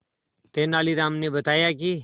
तेनालीराम ने बताया कि